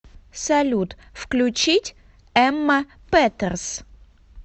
салют включить эмма петерс